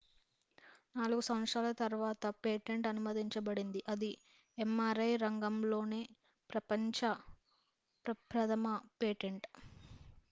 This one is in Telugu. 4 సంవత్సరాల తర్వాత పేటెంట్ అనుమతించబడింది అది mri రంగంలోనే ప్రపంచ ప్రప్రథమ పేటెంట్